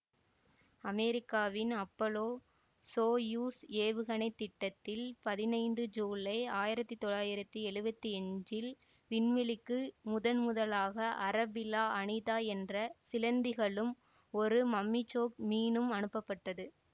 அமெரிக்காவின் Apollo Soyuz ஏவுகணை திட்டத்தில் பதினைந்து சூலை ஆயிரத்தி தொள்ளாயிரத்தி எழுவத்தி அஞ்சில் விண்வெளிக்கு முதன்முதலாக அரபெல்லா அனிதா என்ற சிலந்திகளும் ஒரு மம்மிசோக் மீனும் அனுப்பப்பட்டது